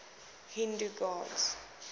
hindu gods